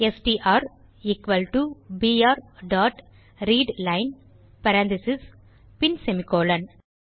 STR equal to PR dot readline parentheses பின் semicolon